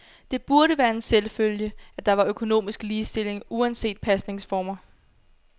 Det burde være en selvfølge, at der var økonomisk ligestilling uanset pasningsformer.